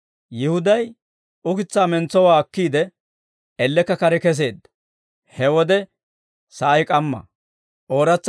Yihuday ukitsaa mentsowaa akkiide, ellekka kare kesseedda; he wode sa'ay k'amma.